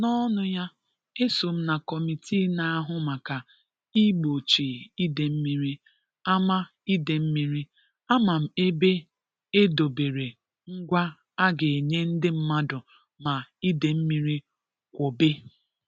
N'ọnụ ya 'eso m na kọmitii na-ahụ maka ịgbochi idemmiri, ama idemmiri, ama m ebe e dobere ngwa a ga-enye ndị mmadụ ma idemmiri kwobe'.